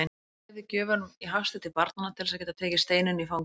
Hann dreifði gjöfunum í hasti til barnanna til þess að geta tekið Steinunni í fangið.